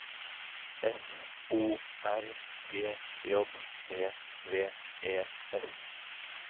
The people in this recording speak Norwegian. F O R G J E V E S